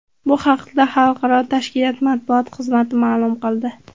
Bu haqda xalqaro tashkilot matbuot xizmati ma’lum qildi .